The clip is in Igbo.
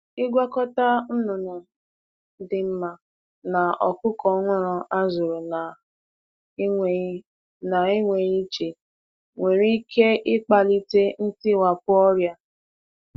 Ịgwakọta anụ ọkụkọ dị mma na ndị e zụtara ọhụrụ n’enweghị inye ha ebe ndebe iche nwere ike ibute mgbasa ọrịa.